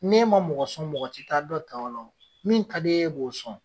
N'e ma mɔgɔ sɔn mɔgɔ ti taa dɔ ta ola wo min ta di e ye e b'o sɔn